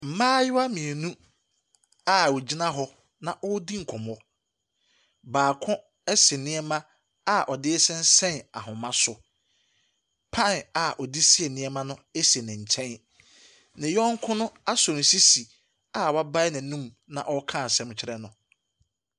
Mmayewa mmienu a wɔgyina hɔ na wɔredi nkɔmmɔ. Baako asi nneɛma a ɔde sensɛn ahoma so. Pan a ɔde sii nneɛma si ne nkyɛn. Ne yɔnko no asɔ ne sisi a wabae n'anom na ɔreka asɛm kyerɛ no.